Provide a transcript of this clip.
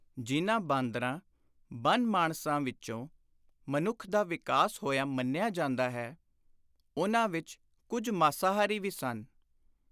ਜਿਨ੍ਹਾਂ ਬਾਂਦਰਾਂ, ਬਨ-ਮਾਣਸਾਂ ਵਿਚੋਂ ਮਨੁੱਖ ਦਾ ਵਿਕਾਸ ਹੋਇਆ ਮੰਨਿਆ ਜਾਂਦਾ ਹੈ, ਉਨ੍ਹਾਂ ਵਿਚ ਕੁੱਝ ਮਾਸਾਹਾਰੀ ਵੀ ਸਨ।